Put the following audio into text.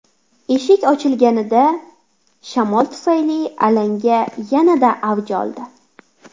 Eshik ochilganida, shamol tufayli alanga yanada avj oldi.